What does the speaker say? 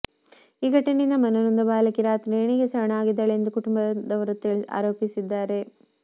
ಈ ಘಟನೆಯಿಂದ ಮನನೊಂದ ಬಾಲಕಿ ರಾತ್ರಿ ನೇಣಿಗೆ ಶರಣಾಗಿದ್ದಾಳೆ ಎಂದು ಕುಟುಂಬದವರು ಆರೋಪಿಸಿದ್ದಾರೆ